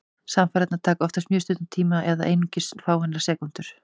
Samfarirnar taka oftast mjög stuttan tíma, eða einungis fáeinar sekúndur.